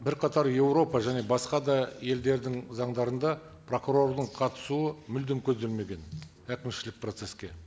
бірқатар еуропа және басқа да елдердің заңдарында прокурордың қатысуы мүлдем көзделмеген әкімшілік процесске